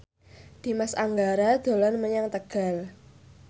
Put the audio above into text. Dimas Anggara dolan menyang Tegal